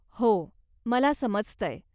हो. मला समजतंय.